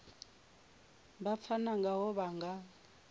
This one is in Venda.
vha pfana ngaho vha nga